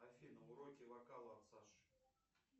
афина уроки вокала от саши